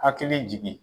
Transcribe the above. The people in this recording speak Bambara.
Hakili jigin